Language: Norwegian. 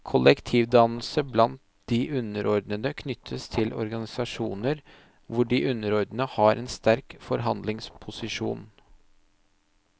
Kollektivdannelse blant de underordnede knyttes til organisasjoner hvor de underordnede har en sterk forhandlingsposisjon.